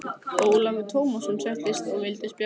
Ólafur Tómasson settist og vildi spjalla.